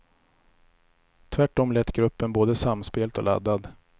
Tvärtom lät gruppen både samspelt och laddad.